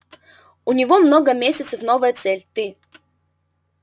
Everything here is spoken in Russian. у него много месяцев новая цель ты